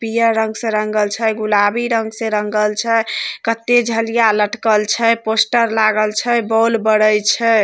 पियर रंग से रंगल छै गुलाबी रंग से रंगल छै कते झलिया लटकल छै पोस्टर लागल छै बॉल बड़ई छै।